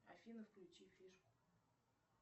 афина включи фишку